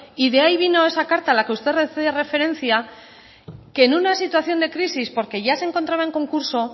y de ahí vino esa carta a la que usted hace referencia que en una situación de crisis porque ya se encontraba en concurso